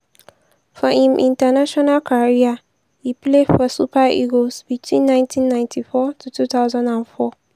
for im international career e play for super eagles between 1994 to 2004.